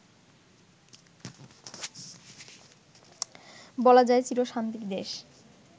বলা যায় চিরশান্তির দেশ